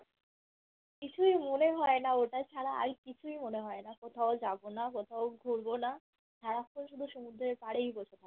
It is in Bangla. কিছুই মনে হয়না ওটা ছাড়া আর কিছুই মনে হয়না কোথাও যাবো না কোথাও ঘুরবো না সারাক্ষন শুধু সমুদ্রের পড়েই বসে থাকবো